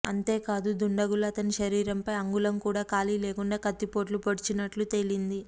అంతేకాదు దుండగులు అతని శరీరంపై అంగుళం కూడా ఖాళీ లేకుండా కత్తిపోట్లు పొడిచినట్లు తేలింది